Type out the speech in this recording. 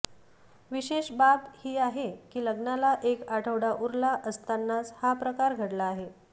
विशेष बाब ही आहे की लग्नाला एक आठवडा उरला असतानाच हा प्रकार घडला आहे